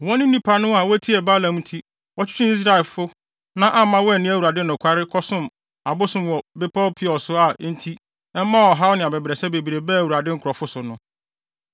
Wɔn ne nnipa no a wotie Balaam nti wɔtwetwee Israelfo na amma wɔanni Awurade nokware kɔsom abosom wɔ bepɔw Peor so a enti ɛmaa ɔhaw ne abɛbrɛsɛ bebree baa Awurade nkurɔfo so no.